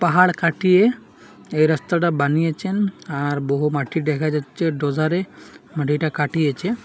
পাহাড় কাটিয়ে এই রাস্তাটা বানিয়েছেন আর বহু মাটি দেখা যাচ্ছে দু'ধারে মাটিটা কাটিয়েছে।